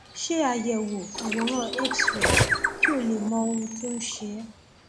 ṣe àyẹwò àwòrán xray kí o lè mọ ohun tó ń ṣe é